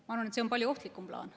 Ma arvan, et see on palju ohtlikum plaan.